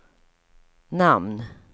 namn